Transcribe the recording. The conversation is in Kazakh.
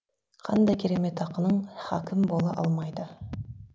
қандай керемет ақының хакім бола алмайды